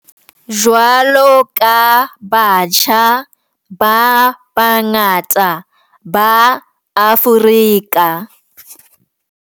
Jwalo ka batjha ba bangata ba Afrika.